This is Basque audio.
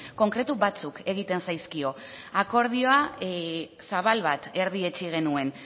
konkretu batzuk egiten zaizkio akordioa zabal bat erdietsi genuen